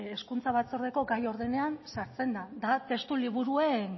hezkuntza batzordeko gai ordenan sartzen den da testu liburuen